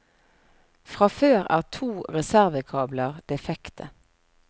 Fra før er to reservekabler defekte.